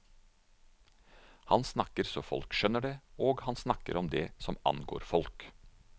Han snakker så folk skjønner det, og han snakker om det som angår folk.